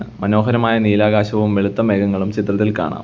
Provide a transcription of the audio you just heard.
മനോഹരമായ നീലാകാശവും വെളുത്ത മേഘങ്ങളും ചിത്രത്തിൽ കാണാം.